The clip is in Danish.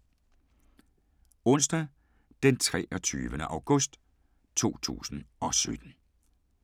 Onsdag d. 23. august 2017